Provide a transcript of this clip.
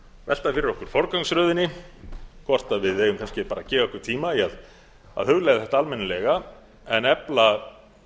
velta fyrir okkur forgangsröðinni hvort við eigum kannski bara að gefa okkur tíma í að hugleiða þetta almennilega en efla